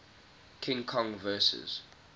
king kong vs